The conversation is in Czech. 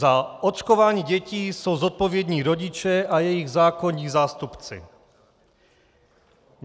Za očkování dětí jsou zodpovědní rodiče a jejich zákonní zástupci.